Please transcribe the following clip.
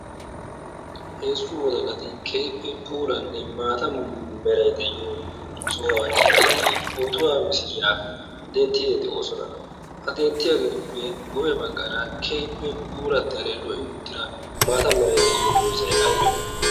heezzu wodalati keehippe puranne maata meray de'iyo sohuwan eqqidi pootuwaa misilyaa denttide de'oosona ha denttiyaageetuppe guyye baggaara keehppe purattiyaale lo''i uttira maata meray de'iyo doozzay aybee